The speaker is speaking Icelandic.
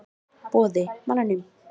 Boði: Manninum?